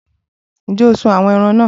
Ǹjẹ́ o sún àwọn ẹran náà?